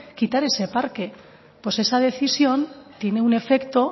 quitar ese parque pues esa decisión tiene un efecto